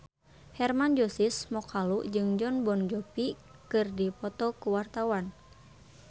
Hermann Josis Mokalu jeung Jon Bon Jovi keur dipoto ku wartawan